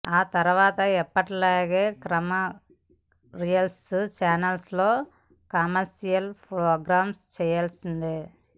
ఆ తర్వాత ఎప్పటిలాగే కమర్షియల్ ఛానల్స్ లో కమర్షియల్ ప్రోగ్రామ్స్ చేసుకోవాల్సిందే